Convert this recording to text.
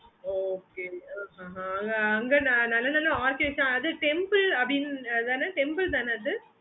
okay mam அங்க நல்ல நல்ல அது temple தான அது